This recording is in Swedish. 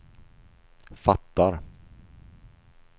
fattar